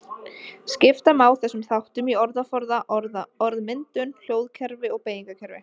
Skipta má þessum þáttum í orðaforða, orðmyndun, hljóðkerfi og beygingarkerfi.